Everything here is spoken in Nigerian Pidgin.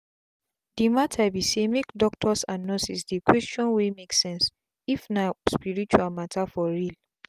the matter be saymake doctors and nurses dey questions wey make sense if na spirtual matter for real.